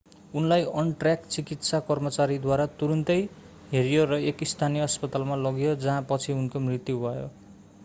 उनलाई अन-ट्र्याक चिकित्सा कर्मचारीद्वारा तुरून्तै हेरियो र एक स्थानीय अस्पतालमा लगियो जहाँ पछि उनको मृत्यु भयो